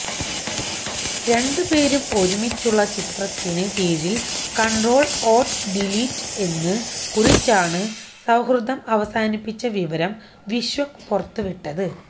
രണ്ടുപേരും ഒരുമിച്ചുള്ള ചിത്രത്തിന് കീഴില് കണ്ട്രോള് ഓള്ട്ട് ഡീലീറ്റ് എന്ന് കുറിച്ചാണ് സൌഹൃദം അവസാനിപ്പിച്ച വിവരം വിശ്വക് പുറത്തുവിട്ടത്